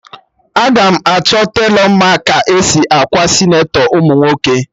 Aga m achọ telọ ma ka esi akwa senatọ ụmụ nwoke